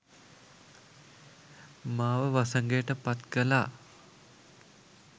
මාව වසඟයට පත් කළා.